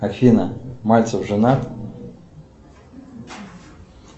афина мальцев женат